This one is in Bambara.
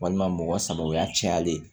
Walima mɔgɔ saba yalen